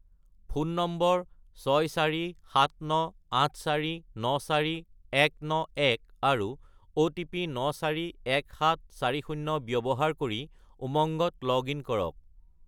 Phone number 64798494191 আৰু OTP 941740 ব্যৱহাৰ কৰি উমংগত লগ-ইন কৰক।